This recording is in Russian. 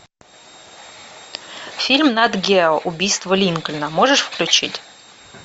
фильм нат гео убийство линкольна можешь включить